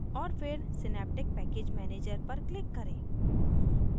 और फिर synaptic package manager पर click करें